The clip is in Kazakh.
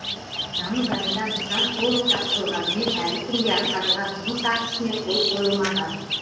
тамыз айында нысан толық тапсырылғанымен әлі күнге атқарылған жұмыс актісіне қол қойылмаған